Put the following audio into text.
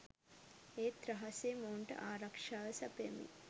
ඒත් රහසේ මොවුන්ට ආරක්ෂාව සපයමින්